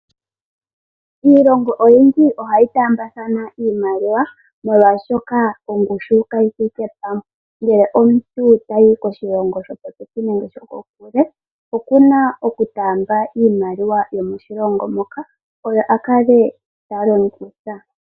Iilongo oyindji ohayi taambathana iimaliwa molwaashoka ongushu kayi thike pamwe. Ngele omuntu tayi koshilongo sho popepi nenge sho kokule okuna oku taamba iimaliwa yomoshilongo moka oyo a kale ta longitha.